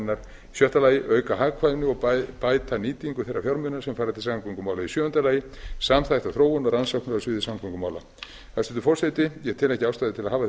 hennar sjötta auka hagkvæmni og bæta nýtingu þeirra fjármuna sem fara til samgöngumála sjöunda samþætta þróun og rannsóknir á sviði samgöngumála hæstvirtur forseti ég tel ekki ástæðu til að hafa